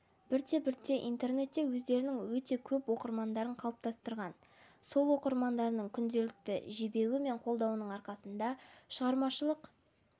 бірте-бірте интернетте өздерінің өте көп оқырмандарын қалыптастырған сол оқырмандарының күнделікті жебеуі мен қолдауының арқасында шығармашылық